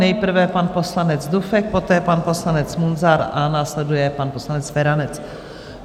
Nejprve pan poslanec Dufek, poté pan poslanec Munzar a následuje pan poslanec Feranec.